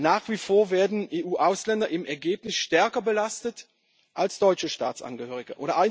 Nach wie vor werden EU Ausländer im Ergebnis stärker belastet als deutsche Staatsangehörige.